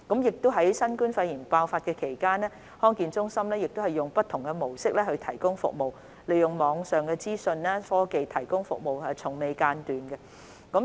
在新冠肺炎疫情爆發期間，康健中心以不同的模式提供服務，從未間斷，包括利用網上資訊科技提供服務。